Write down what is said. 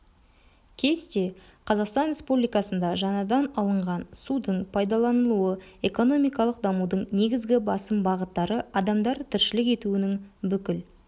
кесте қазақстан республикасында жаңадан алынған судың пайдаланылуы экономикалық дамудың негізгі басым бағыттары адамдар тіршілік етуінің бүкіл